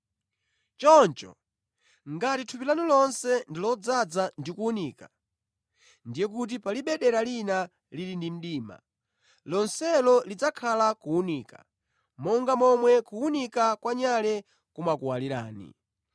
Choncho, ngati thupi lanu lonse ndi lodzaza ndi kuwunika, ndiye kuti palibe dera lina lili mdima, lonselo lidzakhala kuwunika, monga momwe kuwunika kwa nyale kumakuwalirani.”